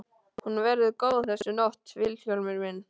Hún verður góð þessi nótt Vilhjálmur minn.